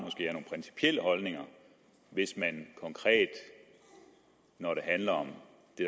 at holdninger hvis man når det handler om det